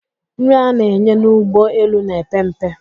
Nri a na-enye n'ụgbọ elu na-epe mpe.